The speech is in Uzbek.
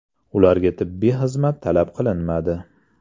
Ularga tibbiy xizmat talab qilinmadi.